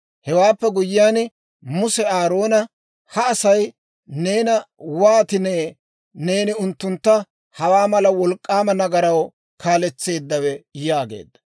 Hewaappe guyyiyaan, Muse Aaroona, «Ha Asay neena wootinee neeni unttuntta hawaa mala wolk'k'aama nagaraw kaaletseeddawe?» yaageedda.